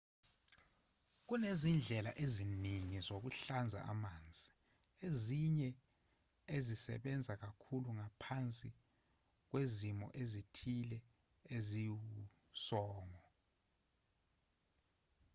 kunezindlela eziningi zokuhlanza amanzi ezinye ezisebenza kakhulu ngaphansi kwezimo ezithile eziwusongo